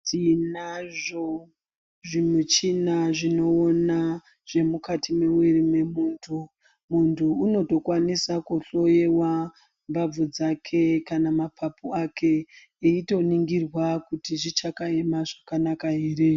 Tinazvo zvimichina zvinoona zvemukati memuviri wemuntu. Muntu unotokwanisa kuhloyewa mbabvu dzake kana mapapu ake eitoningirwa kuti zvichakaema zvakanaka ere.